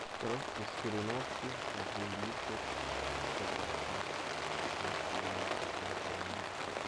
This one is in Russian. коровка из кореновки один литр тетра пак два с половиной процента жира